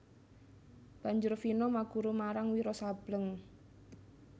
Banjur Vino maguru marang Wiro Sableng